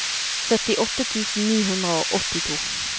syttiåtte tusen ni hundre og åttito